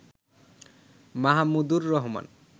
Mahmudur Rahman